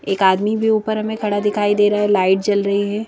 एक आदमी भी ऊपर हमें खड़ा दिखाई दे रहा है लाइट जल रही है।